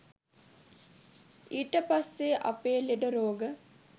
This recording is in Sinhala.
ඊට පස්සේ අපේ ලෙඩ රෝග